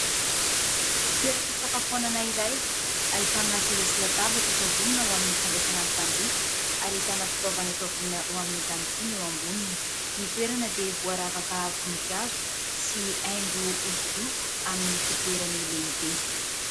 Toeram-pisakafoanana iray ahitana seza sy latabatra efa vonona ao amin'ny fandraisana ny mpanjifa ary ahitana fitaovana efa vonona ho amin'izany koa eo amboniny. Ny toerana dia voaravaka voninkazo sy haingo hosodoko amin'ny fitoerany lehibe.